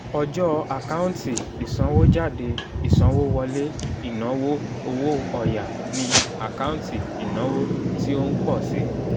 ọjọ́ àkántì ìsanwójáde ìsanwówọlé ìnáwó owó ọ̀ya ni àkáǹtì ìnáwó tí ó ń pọ̀ si